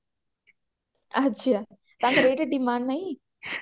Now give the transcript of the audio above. ଆଛା ତାଙ୍କର ଏଇଟା demand ନାଇଁ